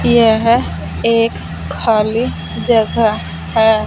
यह एक खाली जगह है।